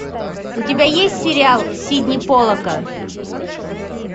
у тебя есть сериал сидни полака